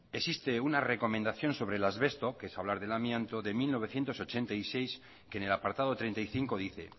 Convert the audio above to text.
existe una recomendación sobre el asbesto que es hablar del amianto de mil novecientos ochenta y seis que en el apartado treinta y cinco dice